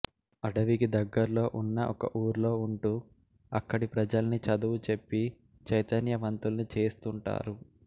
అడవికి దగ్గర్లో ఉన్న ఒక ఊర్లో ఉంటూ అక్కడి ప్రజల్ని చదువు చెప్పి చైతన్యవంతుల్ని చేస్తుంటారు